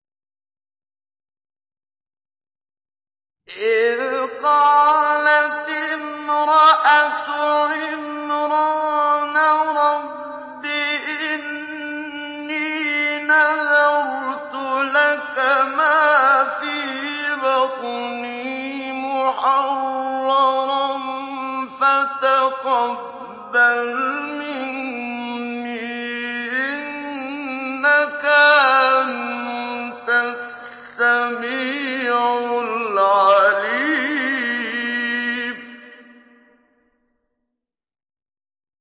إِذْ قَالَتِ امْرَأَتُ عِمْرَانَ رَبِّ إِنِّي نَذَرْتُ لَكَ مَا فِي بَطْنِي مُحَرَّرًا فَتَقَبَّلْ مِنِّي ۖ إِنَّكَ أَنتَ السَّمِيعُ الْعَلِيمُ